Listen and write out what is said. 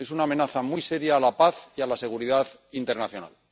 Es una amenaza muy seria a la paz y a la seguridad internacional.